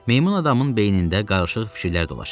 Meymun adamın beynində qarışıq fikirlər dolaşırdı.